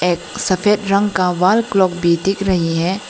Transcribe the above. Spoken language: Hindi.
सफेद रंग का वॉल क्लॉक भी दिख रही है।